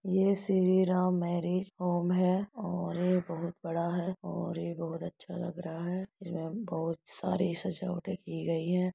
ये Shri Ram marriage home है और ये बहुत बड़ा है और ये बहुत अच्छा लग रहा है। इसमे बहुत सारी सजावटे की गई है।